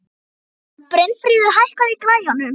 Brynfríður, hækkaðu í græjunum.